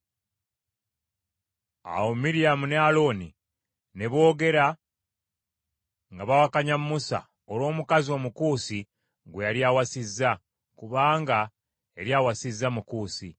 Awo Miryamu ne Alooni ne boogera nga bawakanya Musa olw’omukazi Omukuusi gwe yali awasizza, kubanga yali awasizza Mukuusi.